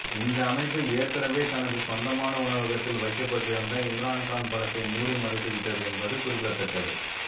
இந்த அமைப்பு ஏற்கனவே தனக்கு சொந்தமான உணவகத்தில் வைக்கப்பட்டிருந்த இம்ரான்கான் படத்தை மூடி மறைத்துவிட்டது என்பது குறிப்பிடத்தக்கது